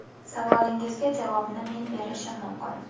Savolingizga javobni men berishim mumkin.